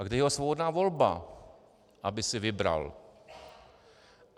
A kde je ta svobodná volba, aby si vybral?